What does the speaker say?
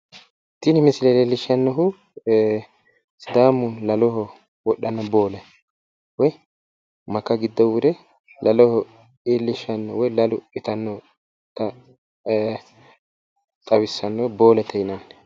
Tini misile leellishshannohu sidaamu laloho wodhanno boole woy maka giddo wore lalaho iillishanno woy lalu itannota xawisanno boolete yinanni.